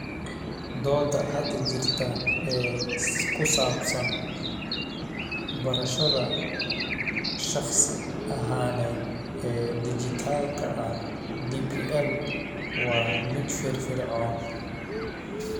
Doodda hadda jirta ee ku saabsan barashada shakhsi ahaaneed ee dhijitaalka ah (DPL) waa mid firfircoon